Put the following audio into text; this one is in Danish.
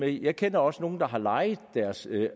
det jeg kender også nogle der har lejet deres